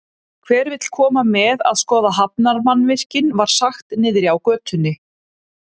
Hver vill koma með að skoða hafnarmannvirkin, var sagt niðri á götunni.